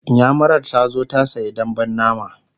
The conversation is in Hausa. inyamurar tazo ta saya dambun nama